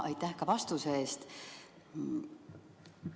Suur tänu vastuse eest!